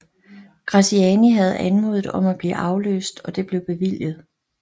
Graziani havde anmodet om at blive afløst og det blev bevilget